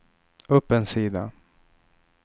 upp en sida